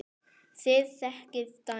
Þið þekkið dæmin.